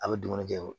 A bɛ dumuni kɛ